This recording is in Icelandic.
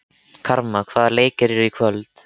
Karma, hvaða leikir eru í kvöld?